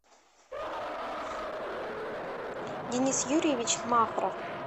денис юрьевич махров